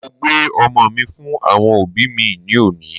Mo gbé ọmọ mí fún àwọn òbí mí ní òní